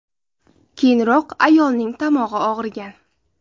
Keyinroq ayolning tomog‘i og‘rigan.